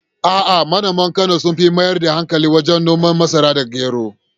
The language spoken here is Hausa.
A’a, manoman Kano sun fi mayar da hankali wajen noman masara da gero.